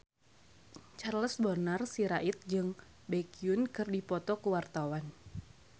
Charles Bonar Sirait jeung Baekhyun keur dipoto ku wartawan